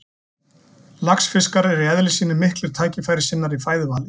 Laxfiskar eru í eðli sínu miklir tækifærissinnar í fæðuvali.